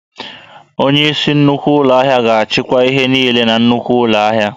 Onyeisi nnukwu ụlọ ahịa ga-achịkwa ihe niile na nnukwu ụlọ ahịa